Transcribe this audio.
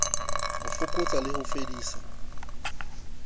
ho fokotsa le ho fedisa